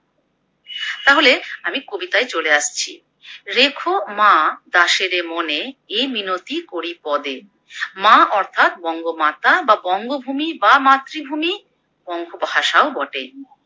তাহলে আমি কবিতায় চলে আসছি। রেখো মা দাসেরে মনে এই মিনতি করি পদে। মা অর্থাৎ বঙ্গমাতা বা বঙ্গভূমি বা মাতৃভূমি বঙ্গভাষাও বটে।